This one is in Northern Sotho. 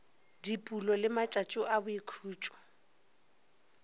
dipulo le matšatšo a boikhutšo